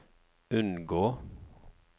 unngå